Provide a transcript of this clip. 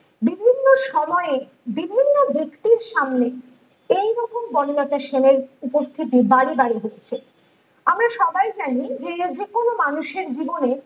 বিভিন্ন সময়ে বিভিন্ন ব্যাক্তির সামনে এইরকম বনলতা সেনের উপস্থিতি বারে বারেই হচ্ছে আমরা সবাই জানি যে এই যেকোনো মানুষের জীবনে